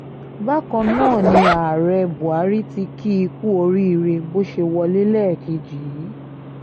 bákan náà ni ààrẹ buhari tí kì í kú oríire bó ṣe wọlé lẹ́ẹ̀kejì yìí